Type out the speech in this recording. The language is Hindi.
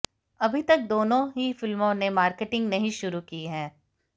अभी तक दोनों ही फिल्मों ने मार्केटिंग नहीं शुरू की है